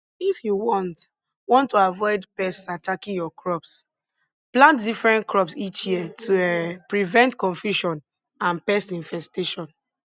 if you want want to avoid pests attacking your crops plant different crops each year to um prevent confusion and pest infestation